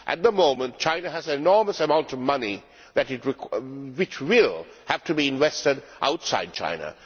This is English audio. At the moment, China has an enormous amount of money which will have to be invested outside China.